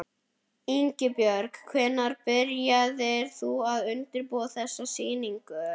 Ingibjörg, hvenær byrjaðir þú að undirbúa þessa sýningu?